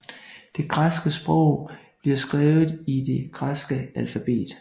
Det græske sprog bliver skrevet i det græske alfabet